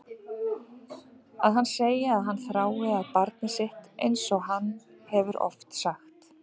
Að hann segi að hann þrái að sjá barnið sitt einsog hann hefur oft sagt.